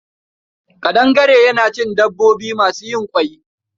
Ƙadangare yana cikin dabbobi masu yin ƙwai.